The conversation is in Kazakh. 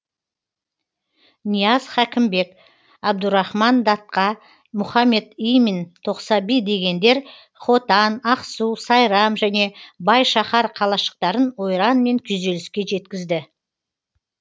нияз хәкімбек абдурахман датқа мұхаммед имин тоқсаби дегендер хотан ақсу сайрам және бай шаһар қалашықтарын ойран мен күйзеліске жеткізді